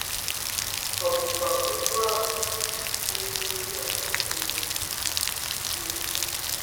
Ọ̀ bụkwa otú ahụ n’ebe ndị agbata obi gị nọ? gị nọ?